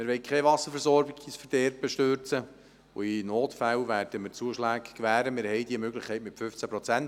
Wir wollen keine Wasserversorgung ins Verderben stürzen, und in Notfällen werden wir Zuschläge gewähren, denn wir haben diese Möglichkeit mit den 15 Prozent.